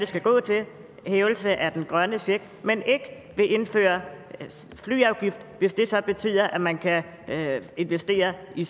skal gå til hævelse af den grønne check men ikke vil indføre flyafgift hvis det så betyder at man kan investere i